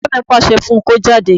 Bàbá mi pàṣẹ fún un kó jáde